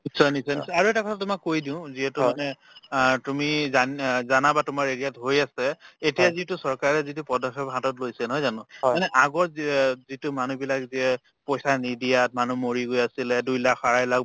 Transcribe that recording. নিশ্চয় নিশ্চয় নিশ্চয় আৰু এটা কথা তোমাক কৈ দিও যিহেতু মানে আ তুমি জান অ জানা বা তোমাৰ area ত হৈ আছে এতিয়া যিটো চৰকাৰে যিটো পদক্ষেপ হাতত লৈছে নহয় জানো মানে আগৰ যি অ যিটো মানুহবিলাক যিয়ে পইচা নিদিয়াত মানুহ মৰি গৈ আছিলে দুই লাখ আৰে লাখ